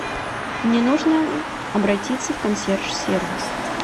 мне нужно обратиться в консьерж сервис